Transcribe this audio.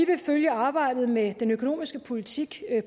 vil følge arbejdet med den økonomiske politik